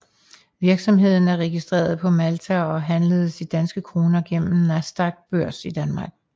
Virksomheden er registreret på Malta og handles i danske kroner igennem Nasdaqs børs i Danmark